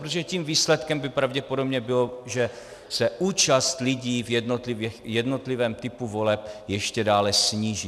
Protože tím výsledkem by pravděpodobně bylo, že se účast lidí v jednotlivém typu voleb ještě dále sníží.